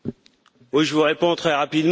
Oui, je vous réponds très rapidement.